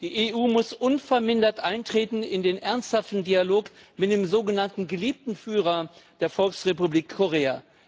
Die EU muss unvermindert eintreten in den ernsthaften Dialog mit dem sogenannten geliebten Führer der Volksrepublik Korea.